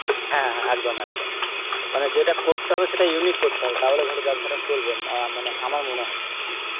হ্যাঁ হ্যাঁ একদম একদম মানে যেটা করতে হবে সেটা unique করতে হবে তাহলে ধর বেব্সাটা মা~ মানে আমার মনে হয় সেটা